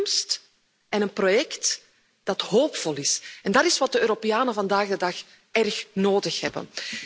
Een toekomst en een project dat hoopvol is, en dat is wat de Europeanen vandaag de dag erg nodig hebben.